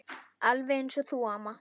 Alveg eins og þú, amma.